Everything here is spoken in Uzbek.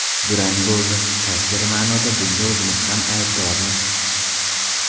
Durang bo‘ldi, qaysidir ma’noda bunga o‘zimiz ham aybdormiz.